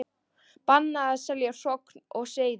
Bannað að selja hrogn og seiði